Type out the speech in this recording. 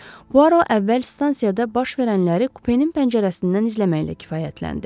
Puaro əvvəl stansiyada baş verənləri kupenin pəncərəsindən izləməklə kifayətləndi.